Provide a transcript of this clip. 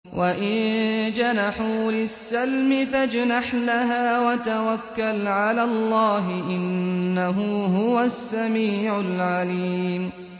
۞ وَإِن جَنَحُوا لِلسَّلْمِ فَاجْنَحْ لَهَا وَتَوَكَّلْ عَلَى اللَّهِ ۚ إِنَّهُ هُوَ السَّمِيعُ الْعَلِيمُ